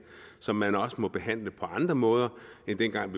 som man også må behandle på andre måder end dengang